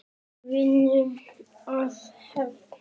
Viljum við hefnd?